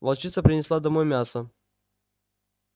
волчица принесла домой мясо